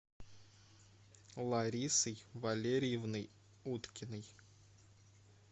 ларисой валерьевной уткиной